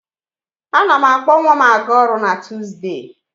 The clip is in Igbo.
A na m akpọ nwa m a ga-ọrụ na Tuuzdee.